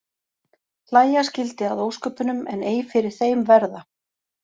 Hlæja skyldi að ósköpunum en ei fyrir þeim verða.